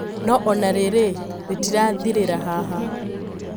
No ona riri ritirathirira haha